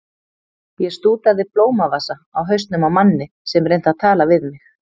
Ég stútaði blómavasa á hausnum á manni sem reyndi að tala við mig.